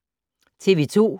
TV 2